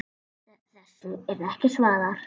Þessu er ekki svarað.